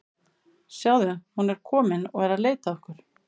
Sjáðu, hún er komin og er að leita að okkur.